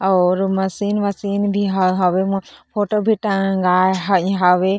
और मशीन वशिन भी हवे फोटो भी टंगाए ह हावे।